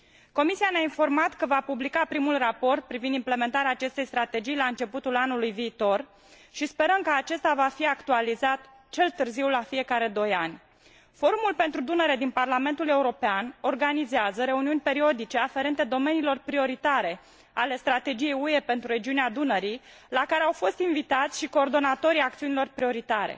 Comisia ne a informat că va publica primul raport privind implementarea acestei strategii la începutul anului viitor, și sperăm că acesta va fi actualizat cel târziu la fiecare doi ani. Forumul pentru Dunăre din Parlamentul European organizează reuniuni periodice aferente domeniilor prioritare ale Strategiei UE pentru regiunea Dunării, la care au fost invitați și coordonatorii acțiunilor prioritare.